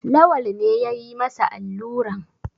Lawal ne ya yi masa alluran.